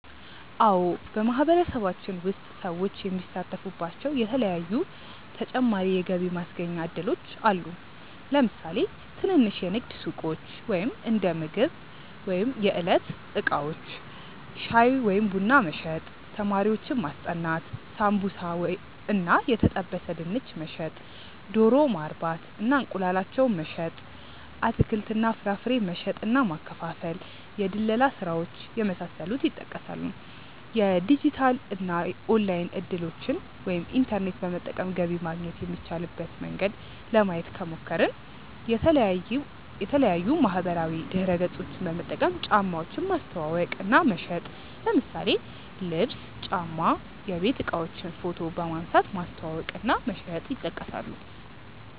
አዎ በማህበረሰባችን ውስጥ ሰዎች የሚሳተፉባቸዉ የተለያዪ ተጨማሪ የገቢ ማስገኛ እድሎች አሉ። ለምሳሌ ትንንሽ የንግድ ሱቆች(እንደምግብ ወይም የዕለት እቃዎች) ፣ ሻይ ወይም ቡና መሸጥ፣ ተማሪዎችን ማስጠናት፣ ሳምቡሳ እና የተጠበሰ ድንች መሸጥ፣ ዶሮ ማርባት እና እንቁላላቸውን መሸጥ፣ አትክልት እና ፍራፍሬ መሸጥ እና ማከፋፈል፣ የድለላ ስራዎች የመሳሰሉት ይጠቀሳሉ። የዲጂታል እና ኦንላይን እድሎችን( ኢንተርኔት በመጠቀም ገቢ ማግኘት የሚቻልበት መንገድ) ለማየት ከሞከርን፦ የተለያዪ ማህበራዊ ድረገፆችን በመጠቀም እቃዎችን ማስተዋወቅ እና መሸጥ ለምሳሌ ልብስ፣ ጫማ፣ የቤት እቃዎችን ፎቶ በመንሳት ማስተዋወቅ እና መሸጥ ይጠቀሳሉ።